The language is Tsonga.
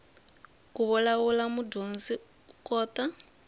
ku vulavula mudyondzi u kota